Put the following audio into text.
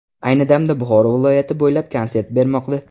Ayni damda Buxoro viloyati bo‘ylab konsert bermoqda.